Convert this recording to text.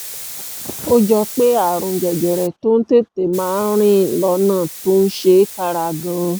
ó jọ pé àrùn jẹjẹrẹ tó ń tètè máa rìn lọ́nà tó ń ṣe kára gan-an